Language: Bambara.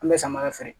An bɛ samara feere